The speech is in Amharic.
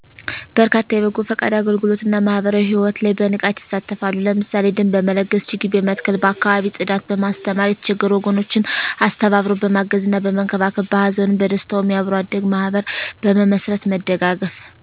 በርካታ የበጎ ፈቃድ አገልግሎት እና ማህበራዊ ሕይወት ላይ በንቃት ይሳተፋሉ። ለምሳሌ ደም በመለገስ፣ ችግኝ በመትከል፣ በአካባቢ ፅዳት፣ በማስተማር፣ የተቸገሩ ወገኖችን አስተባብሮ በማገዝና በመንከባከብ፣ በሀዘኑም በደስታውም የአብሮ አደግ ማህበር መስርት መደጋገፍ